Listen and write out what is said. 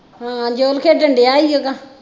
ਹਾਂ ਜੋਨ ਖੇਡਣ ਦਿਆ ਈ ਓਹਦਾ